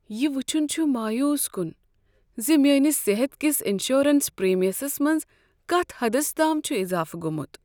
یہ وٕچھن چھ مایوس کن ز میٲنس صحت کس انشورنس پریمیمس منٛز کتھ حدس تام چھ اضافہٕ گومُت۔